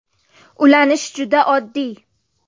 Ulanish juda oddiy!